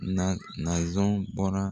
Nan nanzun bɔnna.